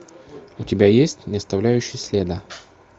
у тебя есть не оставляющий следа